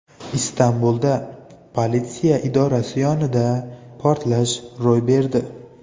Istanbulda politsiya idorasi yaqinida portlash ro‘y berdi.